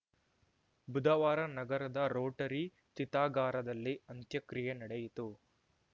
ಬುಧವಾರ ನಗರದ ರೋಟರಿ ಚಿತಾಗಾರದಲ್ಲಿ ಅಂತ್ಯಕ್ರಿಯೆ ನಡೆಯಿತು